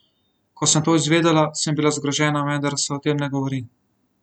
Ko sem to izvedela, sem bila zgrožena, vendar se o tem ne govori.